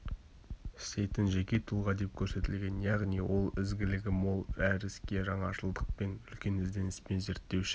істейтін жеке тұлға деп көрсетілген яғни ол ізгілігі мол әр іске жаңашылдықпен үлкен ізденіспен зерттеуші